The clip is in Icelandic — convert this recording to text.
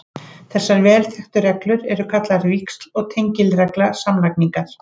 Þessar vel þekktu reglur eru kallaðar víxl- og tengiregla samlagningar.